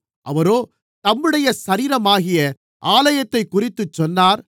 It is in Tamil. அவரோ தம்முடைய சரீரமாகிய ஆலயத்தைக்குறித்துச் சொன்னார்